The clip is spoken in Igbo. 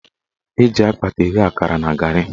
Eji akpata eghe akara na garị.